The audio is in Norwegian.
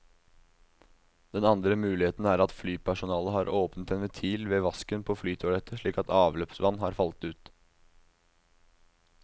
Den andre muligheten er at flypersonalet har åpnet en ventil ved vasken på flytoalettet slik at avløpsvann har falt ut.